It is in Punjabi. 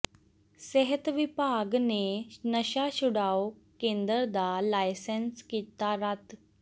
ਸਿਹਤ ਵਿਭਾਗ ਨੇ ਨਸ਼ਾ ਛਡਾਊ ਕੇਂਦਰ ਦਾ ਲਾਇਸੈਂਸ ਕੀਤਾ ਰੱਦ